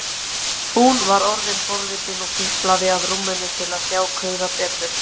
Hún var orðin forvitin og tiplaði að rúminu til að sjá kauða betur.